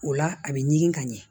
O la a bɛ ɲigin ka ɲɛ